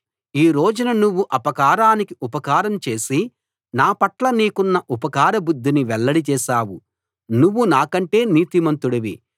ఈ రోజున నువ్వు అపకారానికి ఉపకారం చేసి నా పట్ల నీకున్న ఉపకార బుద్ధిని వెల్లడి చేశావు నువ్వు నాకంటే నీతిమంతుడివి